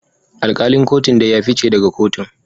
Alkalin kotun dai ya fice daga kotun